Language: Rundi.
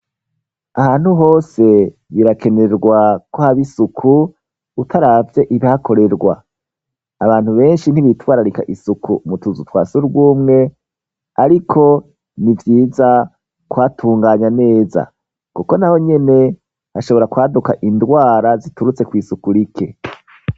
Ahantu hose birakenerwa ko hab'isuku, utaravye ibihakorerwa, abantu benshi ntibitwararika isuku mu tuzu twa surwumwe, ariko ni vyiza kuhatunganya neza kuko naho nyene, hashobora kwaduka indwara ziturutse kw' isuku rike.